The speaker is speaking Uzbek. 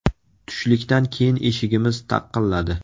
Tushlikdan keyin eshigimiz taqqiladi.